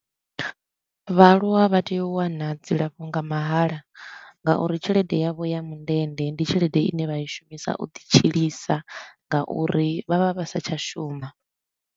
Vhaaluwa vha tea u wana dzilafho nga mahala nga uri tshelede yavho ya mundende ndi tshelede i ne vha i shumisa u ḓi tshilisa ngauri vha vha vha sa tsha shuma.